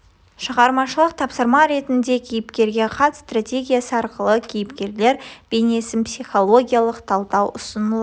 шығармашылық тапсырма ретінде кейіпкерге хат стратегиясы арқылы кейіпкерлер бейнесін психологиялық талдау ұсынылады